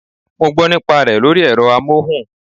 I heard the advert on radio